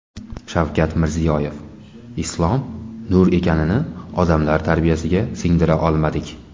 Shavkat Mirziyoyev: Islom - nur ekanini odamlar tarbiyasiga singdira olmadik.